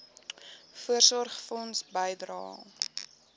voorsorgfonds bydrae